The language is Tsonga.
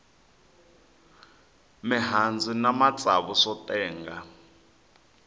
mihandzu na matsavu swo tenga